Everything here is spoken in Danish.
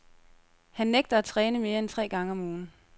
Han nægter at træne mere end tre gange om ugen.